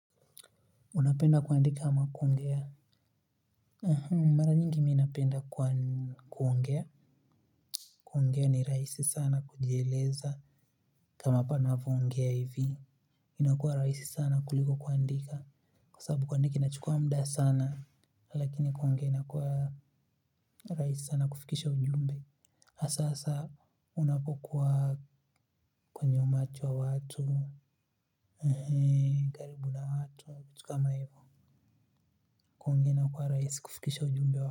Unapenda kuandika ama kuongea mara nyingi mimi napenda kuongea kuongea ni rahisi sana kujieleza kama hapa ninavyoongea hivi inakuwa rahisi sana kuliko kuandika kwa sababu kuandika inachukua muda sana lakini kuongea inakuwa rahisi sana kufikisha ujumbe hasa saa unapokuwa kwenye umati wa watu karibu na watu au kitu kama hivyo kuongea inakuwa rahisi kufikisha ujumbe wa.